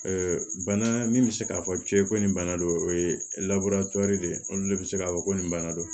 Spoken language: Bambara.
bana min bɛ se k'a fɔ cɛ ye ko nin bana don o ye de ye olu de bɛ se k'a fɔ ko nin bana don